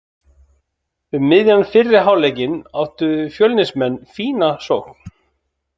Um miðjan fyrri hálfleikinn áttu Fjölnismenn fína sókn.